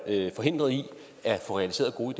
forhindret i at få realiseret gode